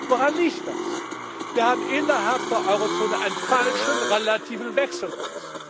Woran liegt das? Wir haben innerhalb der Eurozone einen falschen relativen Wechselkurs.